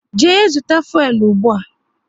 Jee zụta fuelu ụgbụa!